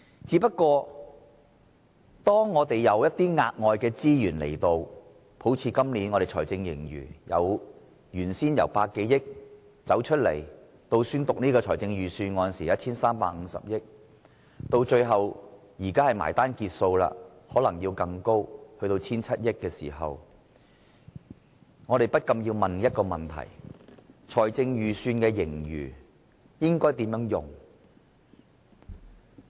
只不過當財政出現額外盈餘，好像今年的財政盈餘由原先估計的100多億元，到宣讀預算案時的 1,350 億元，最後到現在截數時更可能高達 1,700 億元，我們不禁要問，這筆財政盈餘應該如何運用呢？